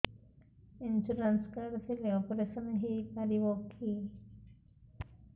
insurance card ଥିଲେ operation ହେଇପାରିବ କି